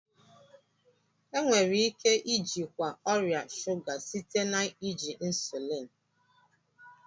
Enwere ike ijikwa ọrịa shụga site na iji insuliin